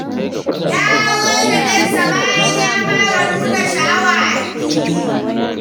Ya aurar da ɗansa, bayan ya fara nuna sha'awa a fili.